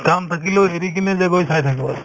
কাম থাকিলেও এৰি কিনে যে গৈ চাই থাকো আৰু